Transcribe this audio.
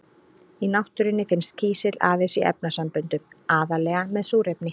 Í náttúrunni finnst kísill aðeins í efnasamböndum, aðallega með súrefni.